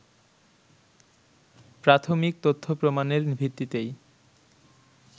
প্রাথমিক তথ্য-প্রমাণের ভিত্তিতেই